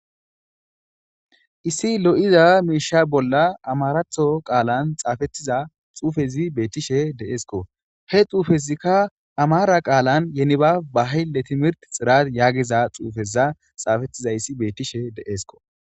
issi lo7iza miisha bolla amaraatho qaalan xaafettiza xuufezi beettishe deesko he xuufezikka amara qaalan yeniba bahille timirt xirat yaagiza xuufeza xaafettizayssi beettishe deeesko